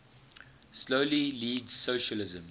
slowly leads socialism